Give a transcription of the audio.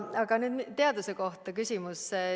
Aga nüüd küsimus teaduse kohta.